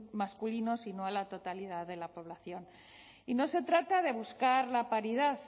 masculinos y no a la totalidad de la población y no se trata de buscar la paridad